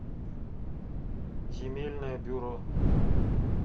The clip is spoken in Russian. земельное бюро